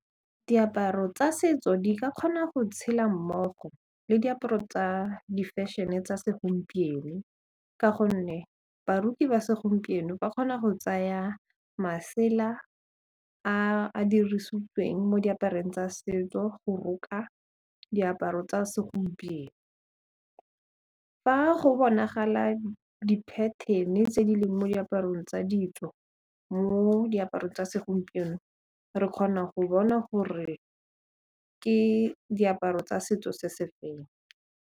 Diaparo tsa setso di ka kgona go tshela mmogo le diaparo tsa di-fashion-e tsa segompieno ka gonne baroki ba segompieno ba kgona go tsaya masela a a dirisitsweng mo diaparong tsa setso go roka diaparo tsa segompieno, fa go bonagala di-pattern-e tse di leng mo diaparong tsa ditso mo diaparong tsa segompieno re kgona go bona gore ke diaparo tsa setso se se feng.